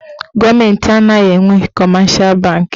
Gọọmenti anaghị enwe kọmeshal banki.